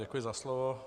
Děkuji za slovo.